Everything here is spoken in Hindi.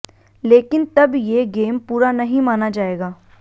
लेकिन तब ये गेम पूरा नहीं माना जायेगा